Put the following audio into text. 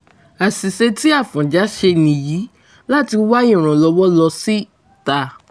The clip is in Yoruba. àṣìṣe tí afọ́njá ṣe nìyí láti wá ìrànlọ́wọ́ lọ síta